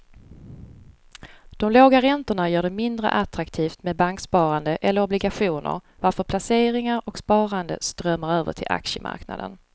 De låga räntorna gör det mindre attraktivt med banksparande eller obligationer varför placeringar och sparande strömmar över till aktiemarknaden.